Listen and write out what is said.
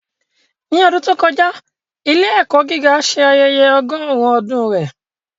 Ní ọdún tó kọjá, ilé-ẹ̀kọ́ gíga ṣe ayẹyẹ ọgọ́rùn-ún ọdún rẹ̀.